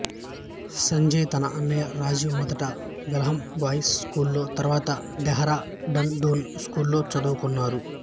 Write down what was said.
సంజయ్ తన అన్నయ్య రాజీవ్ మొదట వెల్హామ్ బాయ్స్ స్కూల్ లో తరువాత డెహ్రా డన్ డూన్ స్కూల్లో చదువుకున్నారు